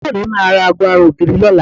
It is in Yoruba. Àbúrò mi máa ra aago ara ògiri lọ́la